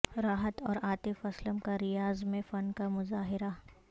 راحت اور عاطف اسلم کا ریاض میں فن کا مظاہرہ